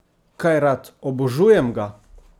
Kaj rad, obožujem ga!